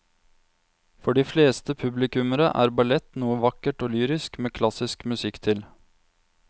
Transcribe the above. For de fleste publikummere er ballett noe vakkert og lyrisk med klassisk musikk til.